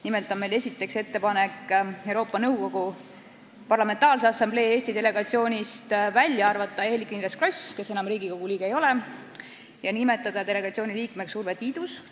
Nimelt on meil esiteks ettepanek arvata Euroopa Nõukogu Parlamentaarse Assamblee Eesti delegatsioonist välja Eerik-Niiles Kross, kes enam Riigikogu liige ei ole, ja nimetada delegatsiooni liikmeks Urve Tiidus.